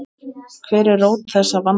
Hver er rót þessa vanda?